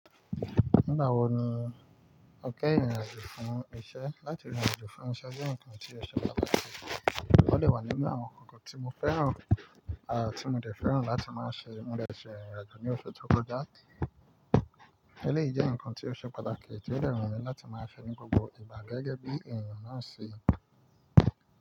Nígbà wo ni o kẹ́yin rin àjò fún iṣẹ́? Látì ìrìn àjò fún iṣẹ́ jẹ́ nǹkan tí ó ṣe pàtàkì, ó dè wà nínú àwọn nǹkankan tí mo fẹ́ràn àti mo dẹ̀ fẹ́ràn láti máa ṣe. Mo lẹ̀ ṣe ìrìn àjò ní oṣù tó kọjá. Eléyìí jẹ́ nǹkan tí ó ṣe pàtàkì tí ó dẹ wù mi láti máa fi ní gbogbo ìgbà gẹ́gẹ́ bí èèyàn náà ṣe.